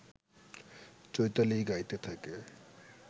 চৈতালি গাইতে থাকে